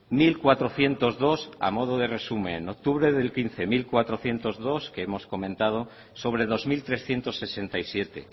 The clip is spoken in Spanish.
mil cuatrocientos dos a modo de resumen octubre del dos mil quince mil cuatrocientos dos que hemos comentado sobre dos mil trescientos sesenta y siete